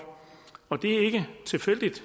det er ikke tilfældigt